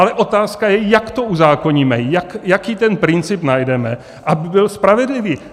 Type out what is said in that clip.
Ale otázka je, jak to uzákoníme, jaký ten princip najdeme, aby byl spravedlivý.